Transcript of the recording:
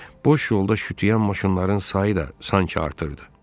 Boş yolda şütüyən maşınların sayı da sanki artırırdı.